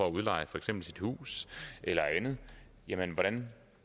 at udleje for eksempel sit hus eller andet